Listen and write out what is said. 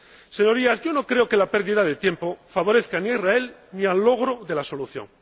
Señorías, yo no creo que la pérdida de tiempo favorezca ni a Israel, ni al logro de la solución.